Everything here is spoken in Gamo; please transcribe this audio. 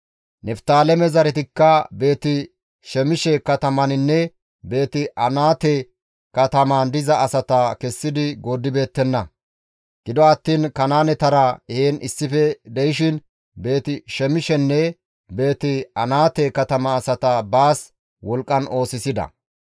Niftaaleme zaretikka Beeti-Shemishe katamaninne Beeti-Anaate katamaan diza asata kessidi gooddibeettenna; gido attiin Kanaanetara heen issife de7ishin Beeti-Shemishenne Beeti-Anaate katama asata baas wolqqan oosisida.